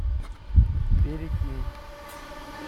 перекинь